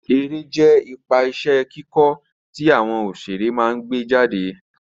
Eré jẹ́ ipa iṣẹ́ kíkọ́ tí àwọn òṣeré máa gbé jáde